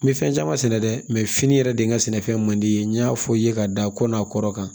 N bɛ fɛn caman sɛnɛ dɛ fini yɛrɛ de ye n ka sɛnɛfɛn man di n ye n y'a fɔ i ye ka da ko n'a kɔrɔ kan